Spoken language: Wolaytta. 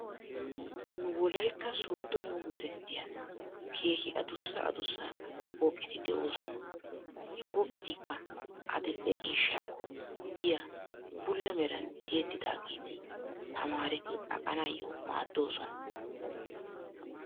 Nu wolaytta sooddo yumbberesttiyan keehi adussa adussa pooqet de'oosona. He pooqetikka adidhdhe ciishshakko biya bulla meran tiyettidageeti tamaareti aqanaayyo maaddoosona.